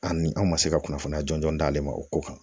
Ani an ma se ka kunnafoniya jɔnjɔn d'ale ma o ko kan